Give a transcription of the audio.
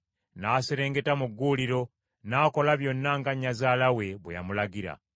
N’aserengeta mu gguuliro, n’akola byonna nga nnyazaala we bwe yamulagira.